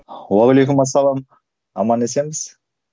уағалейкумассалам аман есенбіз